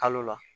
Kalo la